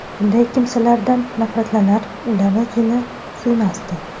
Bunday kimsalardan nafratlanar, ularni jini suymasdi.